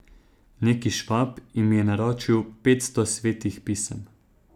Neki Švab jim je naročil petsto Svetih pisem.